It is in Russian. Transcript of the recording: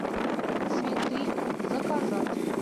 цветы заказать